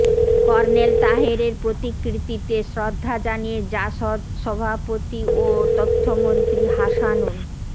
colonel তাহেরের প্রতিকৃতিতে শ্রদ্ধা জানিয়ে জাসদ সভাপতি ও তথ্যমন্ত্রী হাসানুল